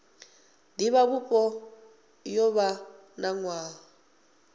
divhavhupo yo vha na nwaha